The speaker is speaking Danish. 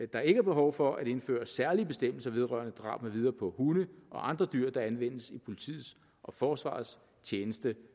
der ikke er behov for at indføre særlige bestemmelser vedrørende drab med videre på hunde og andre dyr der anvendes i politiets og forsvarets tjeneste